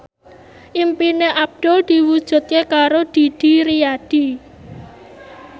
impine Abdul diwujudke karo Didi Riyadi